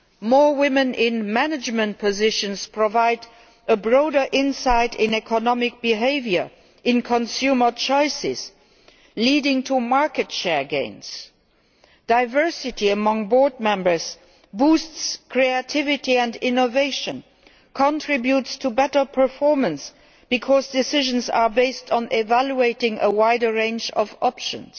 More women in management positions provide a broader insight into economic behaviour, into consumers' choices, leading to market share gains. Diversity among board members boosts creativity and innovation and contributes to better performance because decisions are based on evaluating a wider range of options.